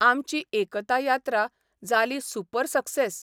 आमची 'एकता यात्रा 'जाली super success !